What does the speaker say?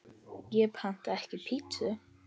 Ég pantaði ekki pítsu